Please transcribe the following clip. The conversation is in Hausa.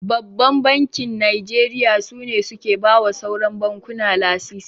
Babban Bankin Najeriya su ne suke bawa sauran bankuna lasisi.